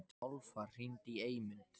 Álfar, hringdu í Eymund.